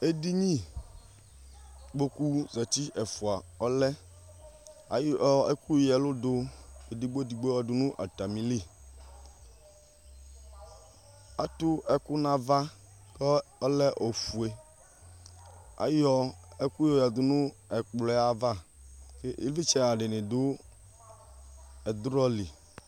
edini kpoku zati ɛfua ɔlɛ ayɔ ɛku ya ɛlu du edigbo edigbo yɔdu nu ata mi li atu ɛku nava ku ɔlɛ ofue ayɔ ɛku yo ya du nu ɛkplɔɛ ava ivlitchɛ- ha dini du ɛdrɔ li